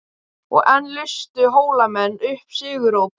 Og enn lustu Hólamenn upp sigurópi.